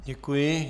Děkuji.